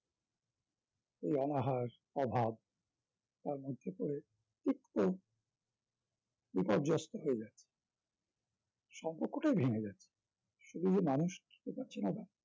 এই অনাহার, অভাব তার মধ্যে করে তিক্ত বিপর্যস্ত হয়ে যায় সম্পর্কটাই ভেঙে যায় শুধু যে মানুষ চেনা দায়